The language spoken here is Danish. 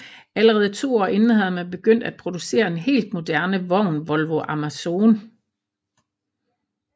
Allerede 2 år inden havde man begyndt at producere en helt moderne vogn Volvo Amazon